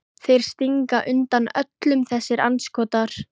Þeir stinga undan öllum þessir andskotar!